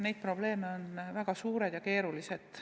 Need probleemid on väga suured ja keerulised.